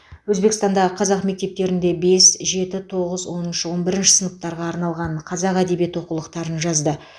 өзбекстандағы қазақ мектептерінде бес жеті тоғыз оныншы он бірінші сыныптарға арналған қазақ әдебиеті оқулықтарын жазды